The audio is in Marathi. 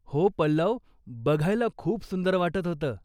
हो पल्लव! बघायला खूप सुंदर वाटत होतं.